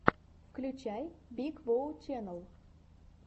включай биг воу ченнал